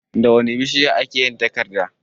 Da wane bishiya a ke yin takarda?